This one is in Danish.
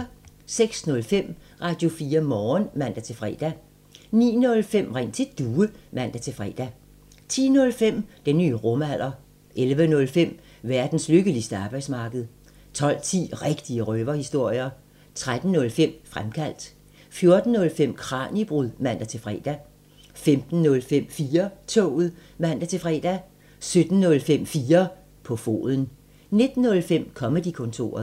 06:05: Radio4 Morgen (man-fre) 09:05: Ring til Due (man-fre) 10:05: Den nye rumalder 11:05: Verdens lykkeligste arbejdsmarked 12:10: Rigtige røverhistorier 13:05: Fremkaldt 14:05: Kraniebrud (man-fre) 15:05: 4-toget (man-fre) 17:05: 4 på foden 19:05: Comedy-kontoret